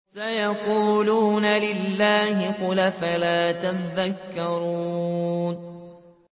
سَيَقُولُونَ لِلَّهِ ۚ قُلْ أَفَلَا تَذَكَّرُونَ